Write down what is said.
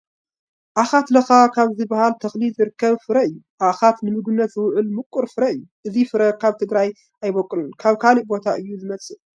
ዓኻት ላኻ ካብ ዝበሃል ተኽሊ ዝርከብ ፍረ እዩ፡፡ ዓኻት ንምግብነት ዝውዕል ምቑር ፍረ እዩ፡፡ እዚ ፍረ ኣብ ትግራይ ኣይበቑልን፡፡ ካብ ካልእ ቦታ እዩ ዝመፅእ፡፡